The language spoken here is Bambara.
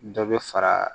Dɔ bɛ fara